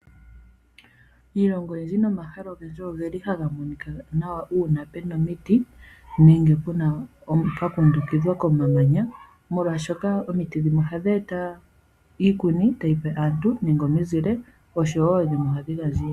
Iilongo oyindji nomahala ogendji oge li haga monika nawa uuna pu na omiti nenge pwa kundukidhwa komamanya, molwashoka omiti dhimwe ohadhi eta iikuni nenge omizile kaantu.